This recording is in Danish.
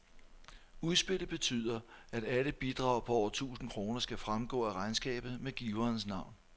Udspillet betyder, at alle bidrag på over tusind kroner skal fremgå af regnskabet med giverens navn.